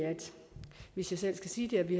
hvis jeg selv skal sige det at vi